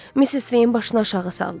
Missis Sveyin başını aşağı saldı.